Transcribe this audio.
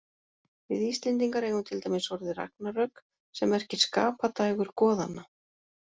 Við Íslendingar eigum til dæmis orðið ragnarök, sem merkir skapadægur goðanna.